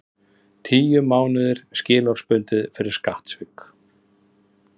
Tíu mánuðir skilorðsbundið fyrir skattsvik